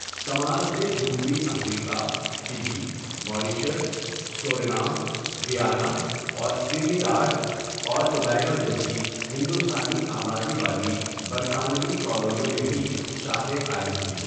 سماج نے جنوبی افریقہ، فجی، ماریشس، سورینام، گیانا اور ٹرینیڈاڈ اور ٹوباگو جیسی ہندوستانی آبادی والی برطانوی کالونیوں میں بھی شاخیں قائم کیں۔